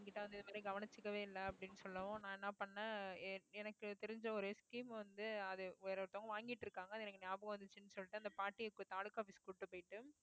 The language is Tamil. என்கிட்ட வந்து இதுவரைக்கும் கவனிச்சுக்கவே இல்லை அப்படின்னு சொல்லவும் நான் என்ன பண்ணேன் என்~ எனக்கு தெரிஞ்ச ஒரு scheme வந்து அது வேற ஒருத்தர் வாங்கிட்டு இருக்காங்க அது எனக்கு ஞாபகம் வந்துச்சுன்னு சொல்லிட்டு அந்த பாட்டியை இப்ப தாலுகா office க்கு கூட்டிட்டு போயிட்டு